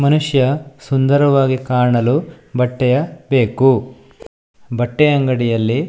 ಮನುಷ್ಯ ಸುಂದರವಾಗಿ ಕಾಣಲು ಬಟ್ಟೆಯ ಬೇಕು ಬಟ್ಟೆ ಅಂಗಡಿಯಲ್ಲಿ--